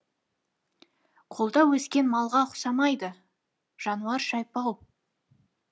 қолда өскен малға ұқсамайды жануар шайпау